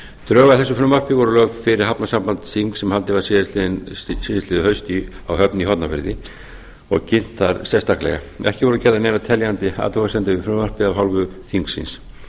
drög að þessu frumvarpi voru lögð fyrir hafnasambandsþing sem haldið var síðastliðið haust á höfn í hornafirði og kynntar sérstaklega ekki voru gerðar neinar teljandi athugasemdir við frumvarpið af hálfu þingsins